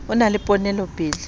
o na le ponelopele o